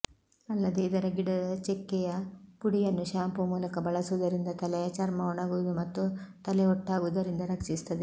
ಅಲ್ಲದೇ ಇದರ ಗಿಡದ ಚೆಕ್ಕೆಯ ಪುಡಿಯನ್ನು ಶಾಂಪೂ ಮೂಲಕ ಬಳಸುವುದರಿಂದ ತಲೆಯ ಚರ್ಮ ಒಣಗುವುದು ಮತ್ತು ತಲೆಹೊಟ್ಟಾಗುವುದರಿಂದ ರಕ್ಷಿಸುತ್ತದೆ